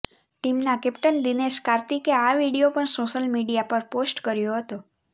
ટીમના કેપ્ટન દિનેશ કાર્તિકે આ વિડીયો પણ સોશિયલ મિડીયા પર પોષ્ટ કર્યો હતો